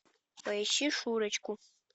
поищи шурочку